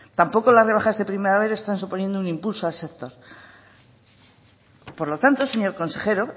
tampoco en la rebajas de primavera están suponiendo un impulso al sector por lo tanto señor consejero